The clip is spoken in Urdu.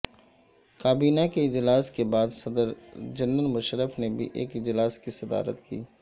کابینہ کے اجلاس کے بعد صدر جنرل مشرف نے بھی ایک اجلاس کی صدارت کی